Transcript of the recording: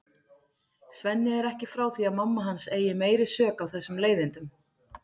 Svenni er ekki frá því að mamma hans eigi meiri sök á þessum leiðindum.